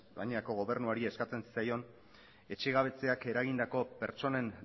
gainera gobernuari eskatzen zitzaion etxegabetzeak eragindako pertsonen